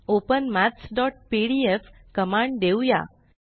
open maths PDF command देऊया